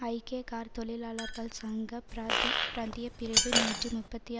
ஐக்கிய கார் தொழிலாளர்கள் சங்க பிரதி பிராந்தியப்பிரிவு நூற்றி முப்பத்தி